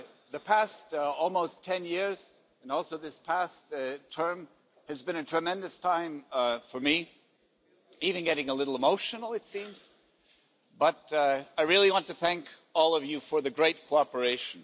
The past almost 10 years, and also this past term, has been a tremendous time for me even getting a little emotional it seems but I really want to thank all of you for the great cooperation.